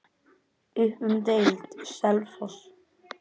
Upp um deild:, Selfoss